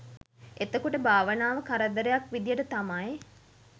එතකොට භාවනාව කරදරයක් විදියට තමයි